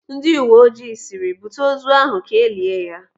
Ndị uwe ojii sịrị, "Bute ozu ahụ ka elia ya!"